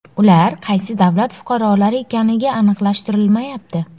Ular qaysi davlat fuqarolari ekanligi aniqlashtirilmayapti.